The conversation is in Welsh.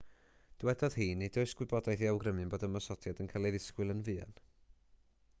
dywedodd hi nid oes gwybodaeth i awgrymu bod ymosodiad yn cael ei ddisgwyl yn fuan